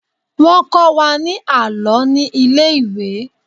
Wọ́n kọ́ Wa ní àlọ́ ní ilé ìwé.